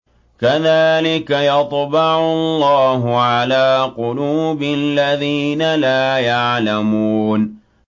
كَذَٰلِكَ يَطْبَعُ اللَّهُ عَلَىٰ قُلُوبِ الَّذِينَ لَا يَعْلَمُونَ